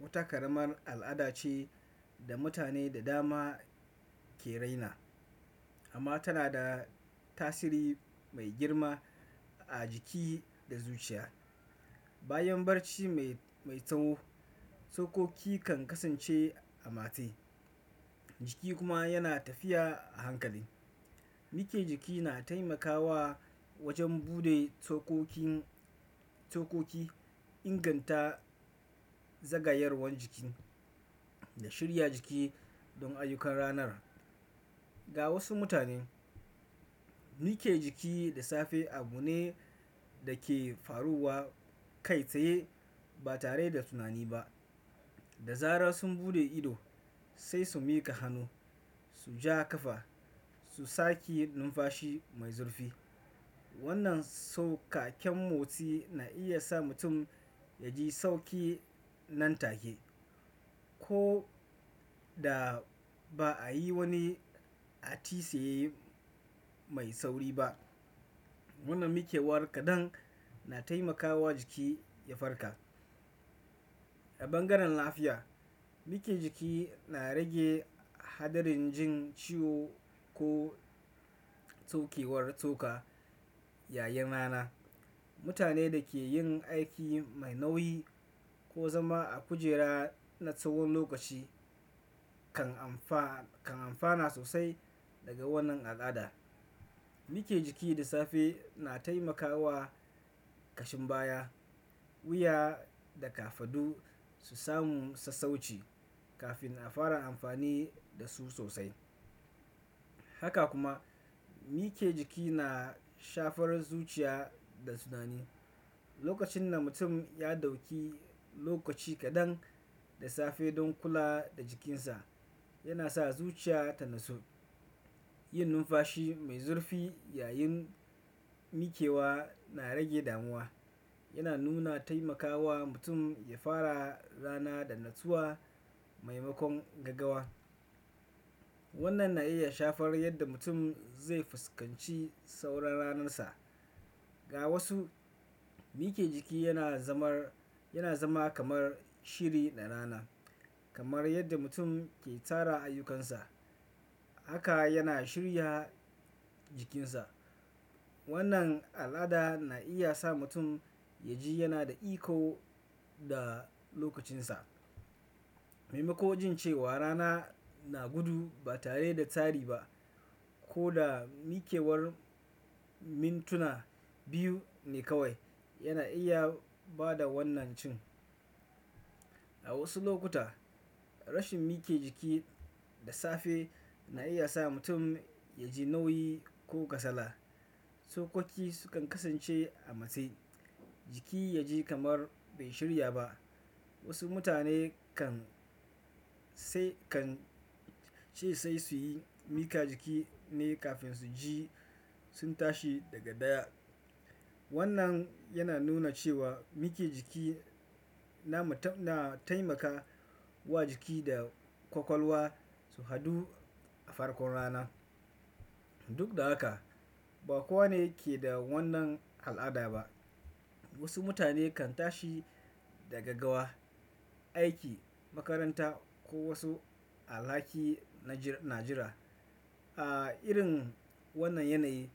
wata ƙaramar al'ada ce da mutane da dama ke raina, amma tana da tasiri mai girma a jiki da zuciya. Bayan barci mai mai tsawo, tsokoki kan kasance a matse, jiki kuma yana tafiya a hankali. Miƙe jiki na taimakawa wajen buɗe tsokokin tsokoki inganta zagayawar jiki da shirya jiki don ayyukan ranar. Ga wasu mutane, mike jiki da safe abu ne da ke faruwa kai tsaye ba tare da tunani ba. Da zarar sun buɗe ido, sai su miƙa hannu, su ja ƙafa, su sake numfashi mai zurfi. Wannan sauƙaƙen motsi na iya sa mutum ya ji sauƙi nan take, ko da ba a yi wani atisaye mai sauri ba. Wannan mikewar kaɗan na taimakawa jiki ya farka. A ɓangaren lafiya, miƙe jiki na rage haɗarin jin ciwo ko tsokewar tsoka yayin rana. Mutane da ke yin aiki mai nauyi ko zama a kujera na tsawon lokaci kan amfa kan amfana sosai daga wannan al'ada. Miƙe jiki da safe na taimakawa ƙashin baya, wuya da kafaɗu su samu sassauci kafin a fara amfani da su sosai. Haka kuma, mike jiki na shafarar zuciya da tunani. Lokacin da mutum ya ɗauki lokaci kaɗan da safe don kula da jikinsa, yana sa zuciya ta natsu. Yin numfashi mai zurfi yayin miƙewa na rage damuwa, yana nuna taimakawa mutum ya fara rana da natsuwa maimakon gaggawa. Wannan na iya shafar yadda mutum zai fuskanci sauran ranarsa. Ga wasu, miƙe jiki yana zama kamar shiri na rana. Kamar yadda mutum ke tara ayyukansa, haka yana shirya jikinsa. Wannan al'ada na iya sa mutum ya ji yana da iko da lokacinsa. Maimakon jin cewa rana na gudu ba tare da tsari ba. Ko da miƙewar mintuna biyu ne kawai, yana iya ba da wannan cin. A wasu lokuta, rashin miƙe jiki da safe na iya sa mutum ya ji nauyi ko kasala. Tsokoki sukan kasance a matse, jiki ya ji kamar bai shirya ba. Wasu mutane kan sai kan ce sai su yi miƙa jiki ne kafin su ji sun tashi daga ɗaya. Wannan yana nuna cewa miƙe jiki na mu ta na taimaka wa jiki da ƙwaƙwalwa su haɗu a farkon rana. Duk da haka, ba kowane ke da wannan al'ada ba. Wasu mutane kan tashi daga gawa, aiki, makaranta ko wasu alhaki na jir na jira. A irin wannan yanayi,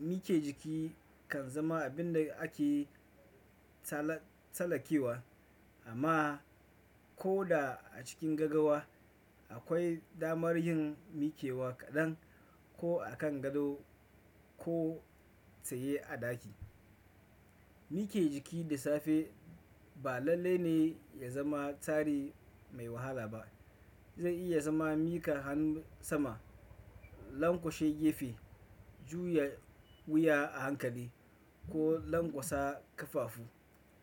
miƙe jiki kan zama abin da ake tsalai tsallakewa amma ko da a cikin gaggawa, akwai damar yin miƙewa kaɗan ko a kan gado ko tsaye a ɗaki. Miƙe jiki da safe ba lallai ne ya zama tsari mai wahala ba. Zai iya zama miƙa hannu sama, lanƙwashe gefe, juya wuya a hankali ko lanƙwasa kafafu.